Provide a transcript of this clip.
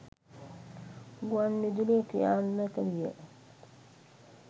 ගුවන් විදුලිය ක්‍රියාත්මක විය.